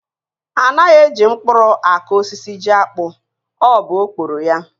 Anaghị e ji mkpụrụ akụ osisi jiakpụ, ọ bụ okporo ya.